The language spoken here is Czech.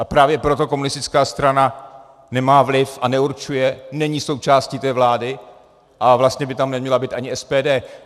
A právě proto komunistická strana nemá vliv a neurčuje, není součástí té vlády, a vlastně by tam neměla být ani SPD.